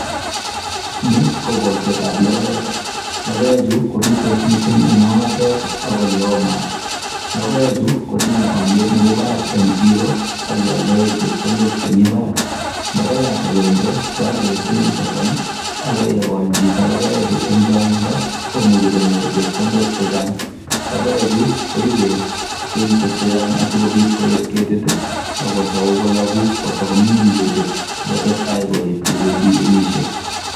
Ni ko kolsetab logoek. Logoechu kobitos mising en ong'atet ak ole oo maat. Logoechu kotinye olyet nebo barak en siro ak kealdaen chepkondok chemi barak. Logoyat agenge kealen siling sosom, ago ye kol chito logoechu en chang'indo komuche konyor chepkondok chechang. Logoechu koibe kenyishek che chang asikobit koet ketit. Ago tou kologu kotago ming'ing ketit si kotestai koet ye tago bendi kenyishek.